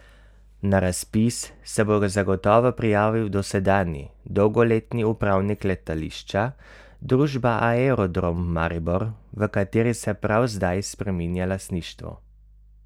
Na razpis se bo zagotovo prijavil dosedanji dolgoletni upravnik letališča, družba Aerodrom Maribor, v kateri se prav zdaj spreminja lastništvo.